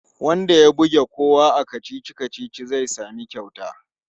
Wanda ya buge kowa a kacici-kacici zai sami kyauta.